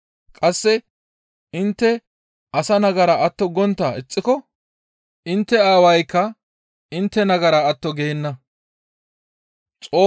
Qasse intte asa nagara atto gontta ixxiko intte Aawaykka intte nagara atto geenna.